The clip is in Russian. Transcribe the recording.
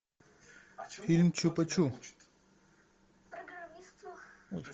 фильм чупа чу